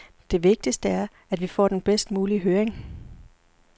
Det vigtigste er, at vi får den bedst mulige høring.